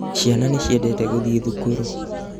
Ciana nĩciendete gũthiĩ thukuru